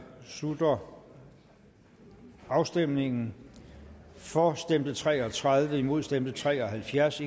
slutter afstemningen for stemte tre og tredive imod stemte tre og halvfjerds